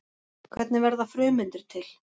Hvernig verða frumeindir til?